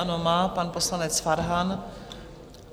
Ano, má, pan poslanec Farhan.